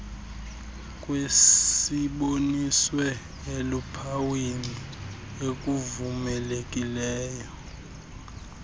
kwesiboniswe eluphawini ekuvumelekileyo